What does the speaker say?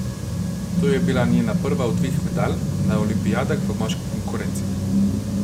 To je bila njena prva od dveh medalj na olimpijadah v moški konkurenci.